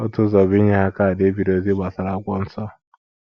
Otu ụzọ bụ inye ha kaadị e biri ozi gbasara akwụkwọ Nsọ.